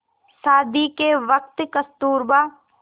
शादी के वक़्त कस्तूरबा